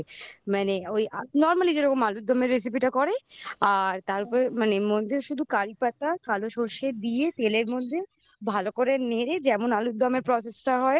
মানে ওই normally যেরকম আলুরদমের recipe টা করে তারপরে মানে মধ্যে শুধু কারিপাতা কালো সর্ষে দিয়ে তেলের মধ্যে ভালো করে নেড়ে যেমন আলুরদমের process টা হয়